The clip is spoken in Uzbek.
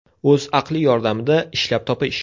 O‘z aqli yordamida ishlab topish.